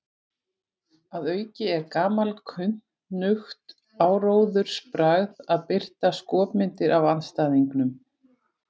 Að auki er gamalkunnugt áróðursbragð að birta skopmyndir af andstæðingnum.